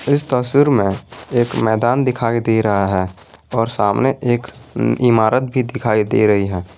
इस तस्वीर में एक मैदान दिखाई दे रहा है और सामने एक इमारत भी दिखाई दे रही है।